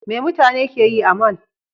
Me mutane ke yi a mall?